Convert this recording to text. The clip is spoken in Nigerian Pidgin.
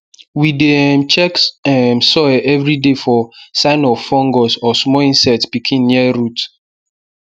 we dey um check um soil every day for sign of fungus or small insect pikin near root